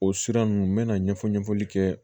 O sira ninnu n mɛna ɲɛfɔ ɲɛfɔli kɛ